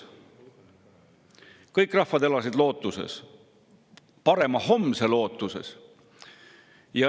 Kõik rahvad elasid lootuses, parema homse lootuses.